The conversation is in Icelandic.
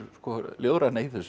ljóðræna í þessu